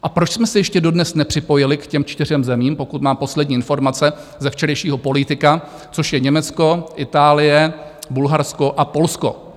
A proč jsme se ještě dodnes nepřipojili k těm čtyřem zemím, pokud mám poslední informace ze včerejšího Política, což je Německo, Itálie, Bulharsko a Polsko?